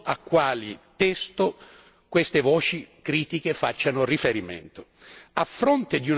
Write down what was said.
Francamente, non so a quale testo queste voci critiche facciano riferimento.